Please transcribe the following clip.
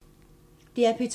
DR P2